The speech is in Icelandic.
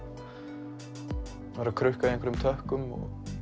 krukka í einhverjum tökkum